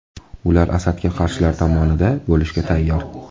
Ular Asadga qarshilar tomonida bo‘lishga tayyor.